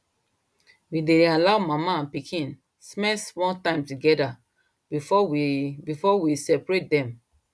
we dey allow mama and pikin spend small time together before we before we separate dem